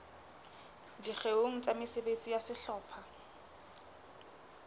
dikgeong tsa mesebetsi ya sehlopha